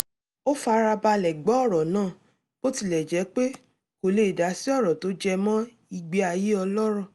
ó fara balẹ̀ gbọ́ ọ̀rọ̀ náà bó tilẹ̀ jẹ́ pé kò lè dásí ọ̀rọ̀ tó jẹmọ ìgbé ayé ọlọ́rọ̀